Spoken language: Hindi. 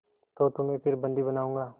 तो तुम्हें फिर बंदी बनाऊँगा